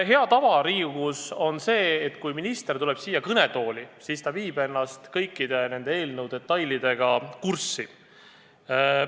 Hea tava Riigikogus on selline, et kui minister tuleb siia kõnetooli, siis ta on end kõikide eelnõu detailidega kurssi viinud.